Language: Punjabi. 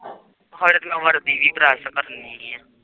ਕ